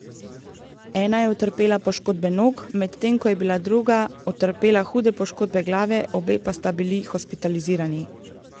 Ena je utrpela poškodbe nog, medtem ko je bila druga utrpela hude poškodbe glave, obe pa sta bili hospitalizirani.